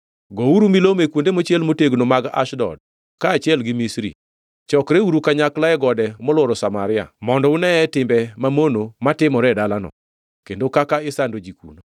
Gouru milome e kuonde mochiel motegno mag Ashdod kaachiel gi Misri: “Chokreuru kanyakla e gode molworo Samaria, mondo uneye timbe mamono matimore e dalano, kendo kaka isando ji kuno.”